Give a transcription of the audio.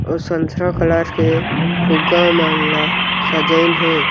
अउ संतरा कलर के फुग्गा मन ला सजाइन हे।